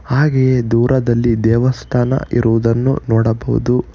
ಹಾಗೆಯೇ ದೂರದಲ್ಲಿ ದೇವಸ್ಥಾನ ಇರುವುದನ್ನು ನೋಡಬಹುದು.